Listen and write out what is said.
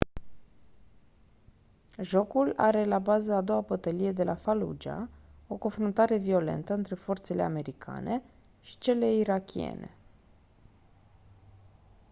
jocul are la bază a doua bătălie de la fallujah o confruntare violentă între forțele americane și cele irakiene